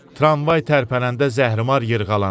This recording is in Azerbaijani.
Tramvay tərpənəndə zəhrimar yırğalanır.